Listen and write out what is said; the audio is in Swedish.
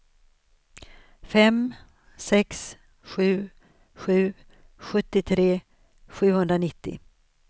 fem sex sju sju sjuttiotre sjuhundranittio